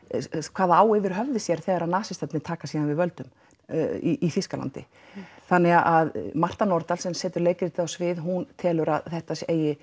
hvað það á yfir höfði sér þegar nasistarnir taka síðan við völdum í Þýskalandi þannig að Marta Nordal sem setur leikritið á svið hún telur að þetta eigi